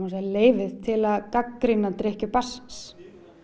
segja leyfið til gagnrýna drykkju barnsins